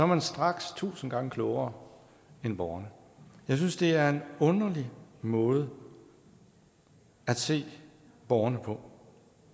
man straks tusind gange klogere end borgerne jeg synes det er en underlig måde at se borgerne på